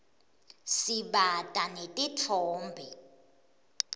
sibata netitfombe